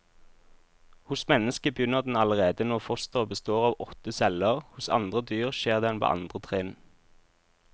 Hos mennesket begynner den allerede når fosteret består av åtte celler, hos andre dyr skjer den på andre trinn.